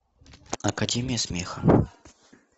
академия смеха